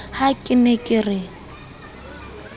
ha ke ne ke re